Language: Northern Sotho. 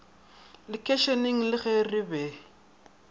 lekeišeneng le ge re be